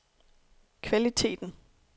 kvaliteten